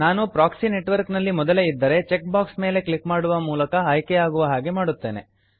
ನಾನು proxy network ನಲ್ಲಿ ಮೊದಲೇ ಇದ್ದರೆ ಚೆಕ್ ಬಾಕ್ಸ್ ಮೇಲೆ ಕ್ಲಿಕ್ ಮಾಡುವ ಮೂಲಕ ಆಯ್ಕೆ ಯಾಗುವ ಹಾಗೆ ಮಾಡುತ್ತೇನೆ